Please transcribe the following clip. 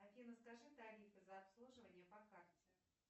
афина скажи тарифы за обслуживание по карте